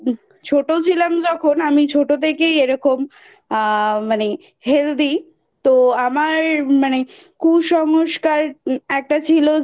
ছোট ছিলাম যখন আমি ছোট থেকেই এরকম আ মানে Healthy তো আমার মানে কুসংস্কার একটা ছিল